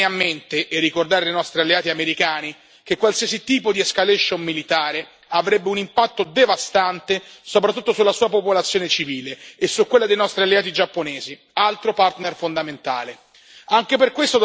Dobbiamo sempre tenere bene a mente e ricordare ai nostri alleati americani che qualsiasi tipo di escalation militare avrebbe un impatto devastante soprattutto sulla sua popolazione civile e su quella dei nostri alleati giapponesi, altro partner fondamentale.